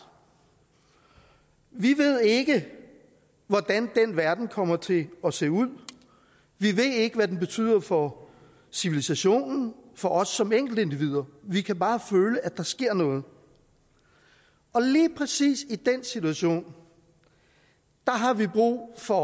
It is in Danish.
vi ved ikke hvordan den verden kommer til at se ud vi ved ikke hvad den betyder for civilisationen for os som enkeltindivider vi kan bare føle at der sker noget og lige præcis i den situation har vi brug for